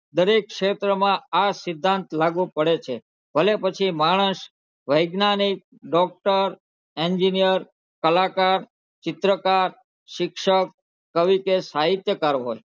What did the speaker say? દરેક ક્ષેત્રમાં આ સિદ્ધાંત લાગુ પડે છે ભલે પછી માણસ વૈજ્ઞાનિક doctor engineer કલાકાર, ચિત્રકાર, શિક્ષક, કવિ કે સાહિત્યકાર હોય.